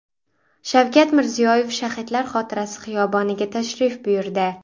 Shavkat Mirziyoyev Shahidlar xotirasi xiyoboniga tashrif buyurdi.